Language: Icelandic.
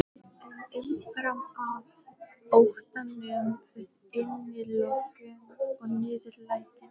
En umfram allt óttanum við innilokun og niðurlægingu.